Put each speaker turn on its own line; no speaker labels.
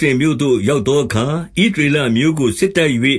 ရှလင်မြို့သို့ ရောက် သောအခါ၊ ဣသရေလအမျိုးကို စစ်တိုက်၍၊